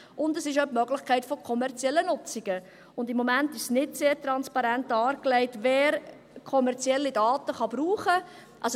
Es besteht auch die Möglichkeit von kommerziellen Nutzungen, und im Moment ist nicht sehr transparent dargelegt, wer kommerzielle Daten brauchen kann.